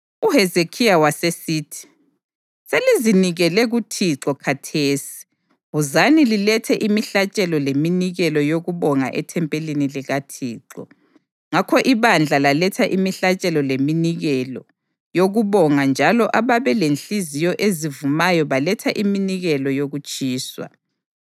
UHezekhiya wasesithi, “Selizinikele kuThixo khathesi. Wozani lilethe imihlatshelo leminikelo yokubonga ethempelini likaThixo.” Ngakho ibandla laletha imihlatshelo leminikelo, yokubonga, njalo ababelenhliziyo ezivumayo baletha iminikelo yokutshiswa.